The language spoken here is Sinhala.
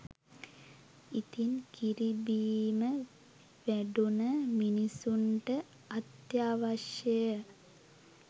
ඉතින් කිරිබීම වැඩුන මිනිසුන්ට අත්‍යාවශය